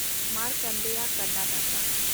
ᱢᱟᱨᱠᱷᱟᱱᱰᱮᱭᱟ Karnataka